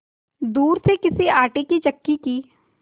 दूर से किसी आटे की चक्की की